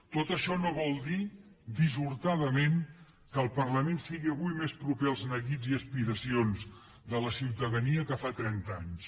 tot això no vol dir dissortadament que el parlament sigui avui més proper als neguits i aspiracions de la ciutadania que fa trenta anys